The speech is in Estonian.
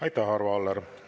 Aitäh, Arvo Aller!